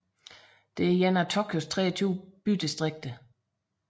er et af Tokyos 23 bydistrikter